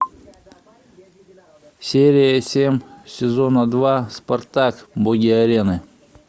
серия семь сезона два спартак боги арены